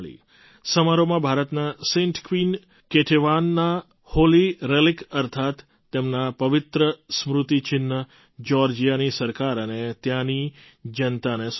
સમારોહમાં ભારતના saint queen કેટેવાનના હૉલી રેલિક અર્થાત્ તેમના પવિત્ર સ્મૃતિ ચિહ્ન જ્યૉર્જિયાની સરકાર અને ત્યાંની જનતાને સોંપ્યું